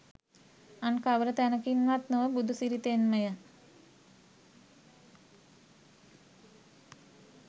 අන් කවර තැනකින්වත් නොව බුදුසිරිතෙන්මය